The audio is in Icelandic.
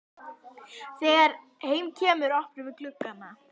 Þegar heim kemur opnum við gluggana.